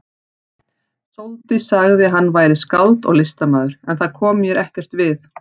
Sóldís sagði að hann væri skáld og listamaður, en það kom mér ekkert við.